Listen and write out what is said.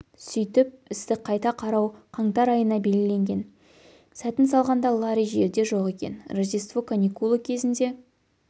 сөйтіп істі қайта қарау қаңтар айына белгіленген сәтін салғанда ларри жерде жоқ екен рождество каникулы кезінде